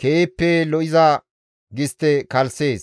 keehippe lo7iza gistte kalssees.